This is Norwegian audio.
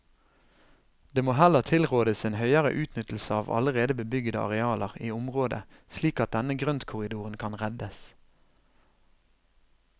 Det må heller tilrådes en høyere utnyttelse av allerede bebyggede arealer i området slik at denne grøntkorridoren kan reddes.